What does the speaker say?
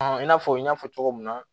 i n'a fɔ n y'a fɔ cogo min na